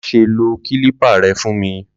M ṣe kílípà rẹ fún mi!